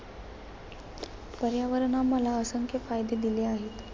पर्यावरणाने आम्हाला असंख्य फायदे दिले आहेत.